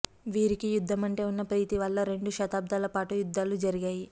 వీరికి యుద్ధమంటే ఉన్న ప్రీతి వల్ల రెండు శతాబ్దాలపాటు యుద్ధాలు జరిగాయి